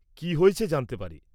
কি হয়েছে জানতে পারি?